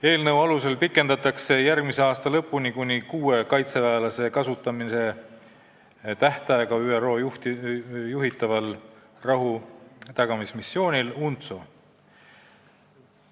Eelnõu alusel pikendatakse järgmise aasta lõpuni kuni kuue kaitseväelase kasutamise tähtaega ÜRO juhitaval rahutagamismissioonil UNTSO.